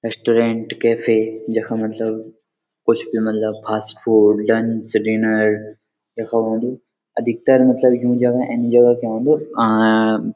restaurant cafe जख मतलब कुछ भी मलब फ़ास्ट फ़ूड लंच डिनर यखा औंदु अधिकतर मलब यूँ जगह एन्जॉय कु औंदु अ --